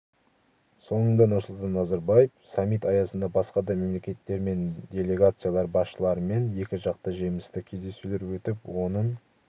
соңында нұрсұлтан назарбаев саммит аясында басқа да мемлекеттер мен делегациялар басшыларымен екіжақты жемісті кездесулер өтіп оның